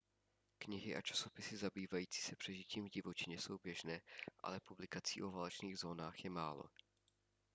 knihy a časopisy zabývající se přežitím v divočině jsou běžné ale publikací o válečných zónách je málo